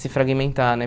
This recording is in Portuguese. Se fragmentar, né?